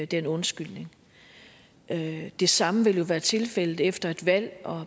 den undskyldning det det samme vil jo også være tilfældet efter et valg